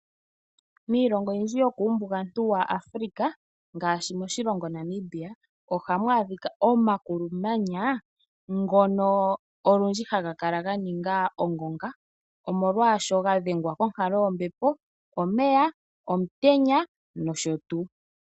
Miilongo oyindji yokuumbugantu waAfrika, ngaashi moshilongo Namibia, ohamu adhika omakulumanya ngono olundji haga kala ga ninga ongonga, omolwaasho ga dhengwa konkalo yombepo, omeya, omutenya nosho tuu.